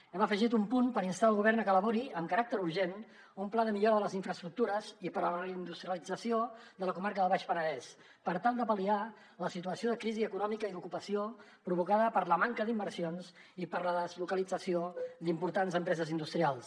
hem afegit un punt per instar el govern a que elabori amb caràcter urgent un pla de millora de les infraestructures i per a la reindustrialització de la comarca del baix penedès per tal de pal·liar la situació de crisi econòmica i d’ocupació provocada per la manca d’inversions i per la deslocalització d’importants empreses industrials